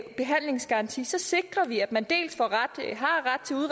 behandlingsgaranti sikrer vi at man